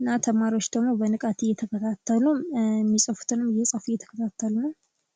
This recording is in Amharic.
እና ተማሪዎች ደግሞ በንቃት እየተከታተሉ እሚፅፉትንም እየፃፉ እየተከታተሉ ነዉ።